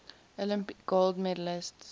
olympic gold medalists